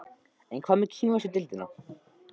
En hvað með kínversku deildina?